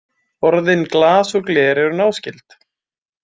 Orðin glas og gler eru náskyld.